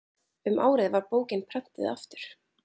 um árið var bókin prenntuð aftur